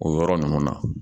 O yɔrɔ ninnu na